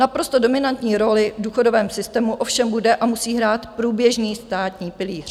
Naprosto dominantní roli v důchodovém systému ovšem bude a musí hrát průběžný státní pilíř.